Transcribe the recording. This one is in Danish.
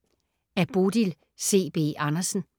Af Bodil C. B. Andersen